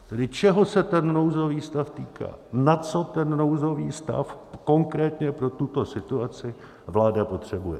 Tedy čeho se ten nouzový stav týká, na co ten nouzový stav konkrétně pro tuto situaci vláda potřebuje.